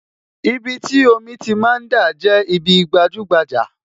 Ibi tí omi ti máa ń dà, jẹ́ ibi gbajúgbajà